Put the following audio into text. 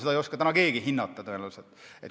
Seda ei oska täna tõenäoliselt keegi hinnata.